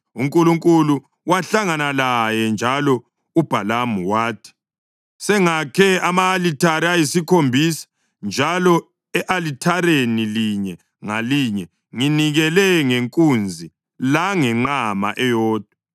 UNkulunkulu wahlangana laye, njalo uBhalamu wathi, “Sengakhe ama-alithare ayisikhombisa njalo e-alithareni linye ngalinye nginikele ngenkunzi langenqama eyodwa.”